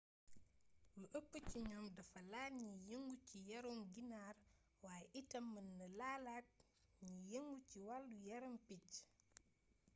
lu ëpp ci ñoom dafa laal ñiy yëngu ci yarum ginaar waaye itam mën na laalaate ñi yëngu ci wàllu yarum picc